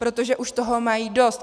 Protože už toho mají dost.